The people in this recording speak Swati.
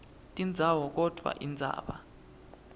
tindzawo kodvwa indzaba